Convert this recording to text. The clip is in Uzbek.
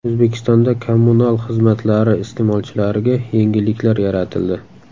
O‘zbekistonda kommunal xizmatlari iste’molchilariga yengilliklar yaratildi.